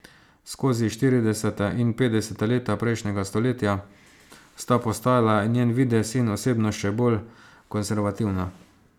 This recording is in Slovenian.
Skozi štirideseta in petdeseta leta prejšnjega stoletja sta postajala njen videz in osebnost še bolj konservativna.